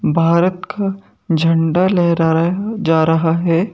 भारत का झंडा लहराया जा रहा है।